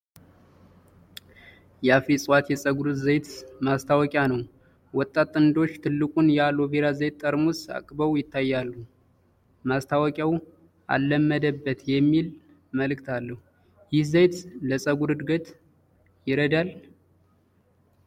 የአፍሪ እፅዋት የፀጉር ዘይት ማስታወቂያ ነው። ወጣት ጥንዶች ትልቁን የኣሎ ቬራ ዘይት ጠርሙስ አቅበው ይታያሉ። ማስታወቂያው "አለመደበት...!" የሚል መልዕክት አለው። ይህ ዘይት ለፀጉር እድገት ይረዳል?